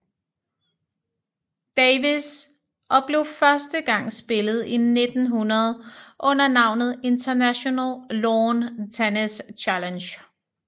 Davis og blev første gang spillet i 1900 under navnet International Lawn Tennis Challenge